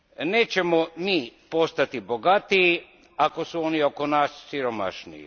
Nećemo mi postati bogatiji, ako su oni oko nas siromašniji.